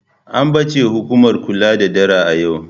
An bace hukumar kula da dara a yau.